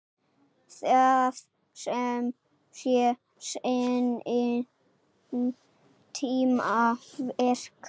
Það sé seinni tíma verk.